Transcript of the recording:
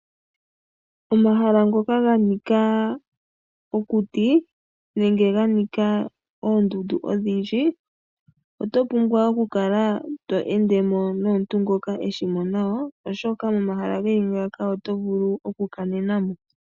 Omahala ngoka ga nika okuti nenge ga nika oondundu odhindji oto pumbwa okukala to ende mo nomuntu ngoka e shi mo nawa oshoka momahala ge li ngaaka oto vulu okukanena mo.